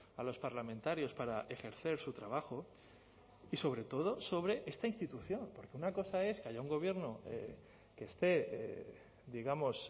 a los parlamentarios para ejercer su trabajo y sobre todo sobre esta institución porque una cosa es que haya un gobierno que esté digamos